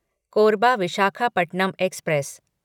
Korba Visakhapatnam express